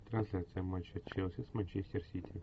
трансляция матча челси с манчестер сити